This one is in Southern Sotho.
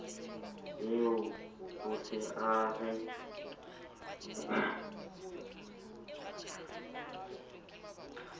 eo o se a re